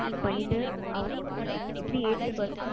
பண்ணிட்டு ஆ இப்படி ஏத்துக்கோங்க,